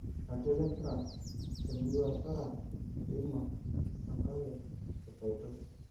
Iratiot lempira temurua osara; Kilima, Sankle, kapaito.